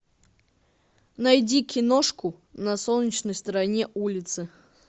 найди киношку на солнечной стороне улицы